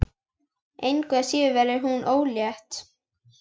Engu að síður verður hún ólétt.